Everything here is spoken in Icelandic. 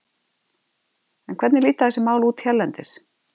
En hvernig líta þessi mál út hérlendis?